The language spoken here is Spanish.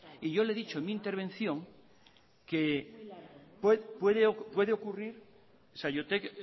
y yo le he dicho en mi intervención que puede ocurrir saiotek